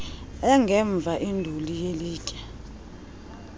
engemva induli yelitye